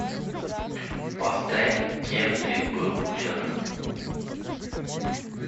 поставь кем ты был вчера